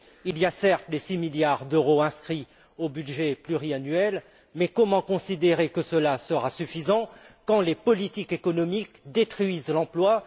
Il y a, certes, les 6 milliards d'euros inscrits au budget pluriannuel, mais comment considérer que cela sera suffisant quand les politiques économiques détruisent l'emploi?